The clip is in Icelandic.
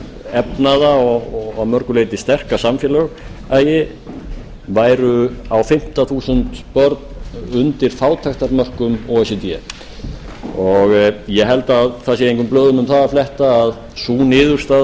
efnaða og að mörgu leyti sterka samfélagi væru á fimmta þúsund börn undir fátæktarmörkum o e c d ég held að það sé engum blöðum um það að fletta að sú niðurstaða